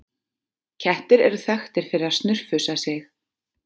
Kettir eru þekktir fyrir að snurfusa sig.